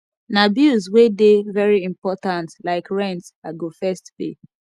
na bills wey dey very important like rent i go first pay